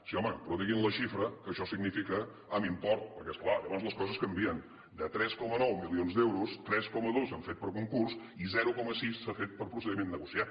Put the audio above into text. sí home però diguin la xifra que això significa amb import perquè és clar llavors les coses canvien de tres coma nou milions d’euros tres coma dos s’han fet per concurs i zero coma sis s’han fet per procediment negociat